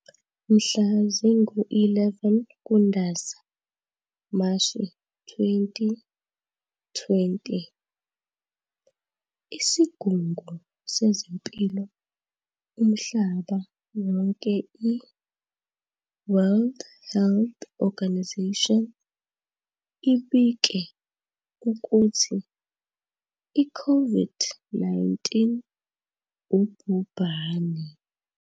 Mhla zingu-11 KuNdasa, Mashi, 2020, isigungu sezempilo umhlaba wonke i-WHO ibike ukuthi i-COVID-19 ubhubhane.